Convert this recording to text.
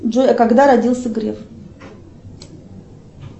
джой а когда родился греф